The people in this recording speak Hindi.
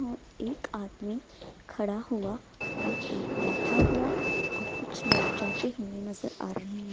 और एक आदमी खड़ा हुआ और एक बैठा हुआ और कुछ लोग जाते हुए नजर आ रहे हैं।